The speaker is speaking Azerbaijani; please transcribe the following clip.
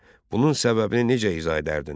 Bunun səbəbini necə izah edərdin?